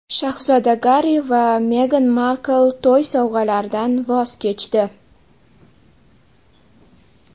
Shahzoda Garri va Megan Markl to‘y sovg‘alaridan voz kechdi.